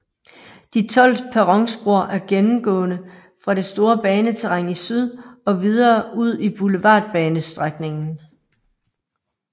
De 12 perronspor er gennemgående fra det store baneterræn i syd og videre ud i Boulevardbanestrækningen